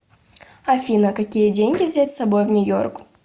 афина какие деньги взять с собой в нью йорк